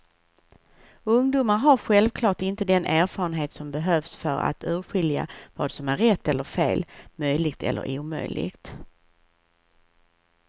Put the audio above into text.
Ungdomar har självklart inte den erfarenhet som behövs för att urskilja vad som är rätt eller fel, möjligt eller omöjligt.